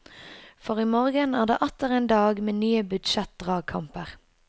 For i morgen er det atter en dag med nye budsjettdragkamper.